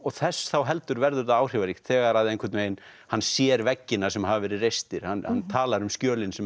þess þá heldur verður það áhrifaríkt þegar að hann sér veggina sem hafa verið reistir hann talar um skjölin sem